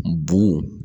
Bugu